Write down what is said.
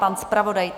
Pan zpravodaj?